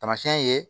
Tamasiyɛn ye